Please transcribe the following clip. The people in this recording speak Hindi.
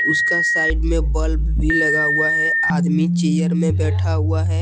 उसका साइड में बल्ब भी लगा हुआ है आदमी चेयर में बैठा हुआ है।